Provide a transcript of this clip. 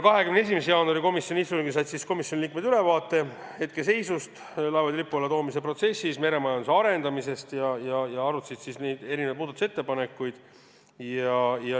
21. jaanuari komisjoni istungil said komisjoni liikmed ülevaate laevade Eesti lipu alla toomise protsessi hetkeseisust ja meremajanduse arendamisest ning arutati muudatusettepanekuid.